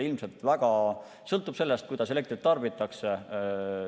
Ilmselt väga palju sõltub sellest, kuidas elektrit tarbitakse.